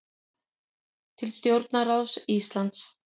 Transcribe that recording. Til stjórnarráðs Íslands